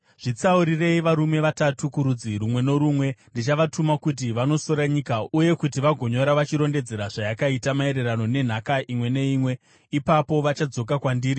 Zvitsaurirei varume vatatu kurudzi rumwe norumwe. Ndichavatuma kuti vanosora nyika uye kuti vagonyora vachirondedzera zvayakaita maererano nenhaka imwe neimwe. Ipapo vachadzoka kwandiri.